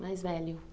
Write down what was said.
Mais velho.